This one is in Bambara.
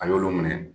A y'olu minɛ